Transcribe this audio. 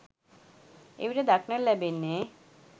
එවිට දක්නට ලැබෙන්නේ